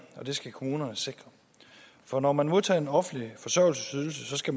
og det skal kommunerne sikre for når man modtager en offentlig forsørgelsesydelse skal